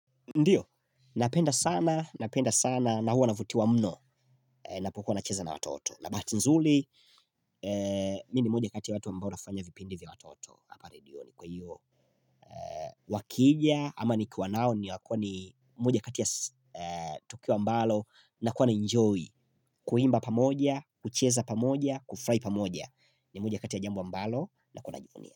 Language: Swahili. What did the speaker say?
Ndiyo, napenda sana, napenda sana, na huwa na vuti wa mno na pokuwa na cheza na watoto. Na bahati nzuri, mi ni moja kati ya watu ambao nafanya vipindi vya watoto pale ndiyo ni kwa hiyo. Wakija, ama ni kwa nao ni moja katia ya tukio ambalo na kuwa na enjoy. Kuimba pamoja, kucheza pamoja, kufurahi pamoja ni moja kati ya jambo ambalo nakuwa najivunia.